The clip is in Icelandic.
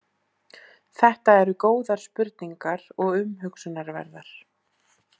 Þetta eru góðar spurningar og umhugsunarverðar.